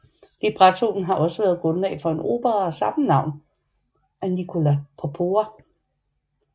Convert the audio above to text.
Librettoen har også været grundlag for en opera af samme navn af Nicola Porpora